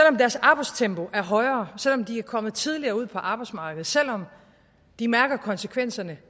om deres arbejdstempo er højere selv om de er kommet tidligere ud på arbejdsmarkedet selv om de mærker konsekvenserne